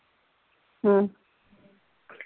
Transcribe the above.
ਹਮ